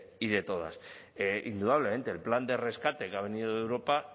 y de todas indudablemente el plan de rescate que ha venido de europa